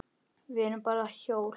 Við erum bara hjól.